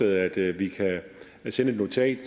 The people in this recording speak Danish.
at vi kan sende et notat